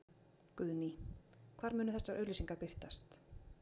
Guðný: Hvar munu þessar auglýsingar birtast?